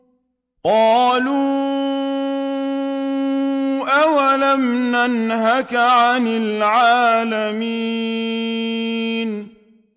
قَالُوا أَوَلَمْ نَنْهَكَ عَنِ الْعَالَمِينَ